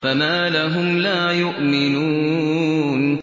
فَمَا لَهُمْ لَا يُؤْمِنُونَ